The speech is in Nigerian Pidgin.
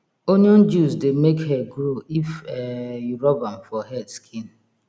onion juice dey make hair grow if um you rub am for head skin